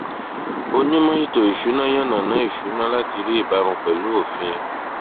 onímò ètò ìsúná yànàná ìṣúná láti rí ìbámu pẹlú òfin